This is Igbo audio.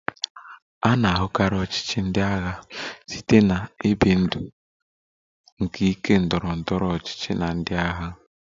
A na-ahụkarị ọchịchị ndị agha site na ibi ndụ nke ike ndọrọ ndọrọ ọchịchị na ndị agha